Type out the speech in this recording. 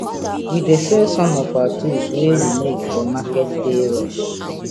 we dey sell some of our tools wey we make for market day rush